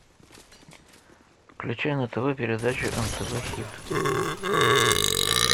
включи на тв передачу нтв хит